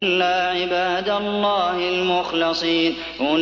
إِلَّا عِبَادَ اللَّهِ الْمُخْلَصِينَ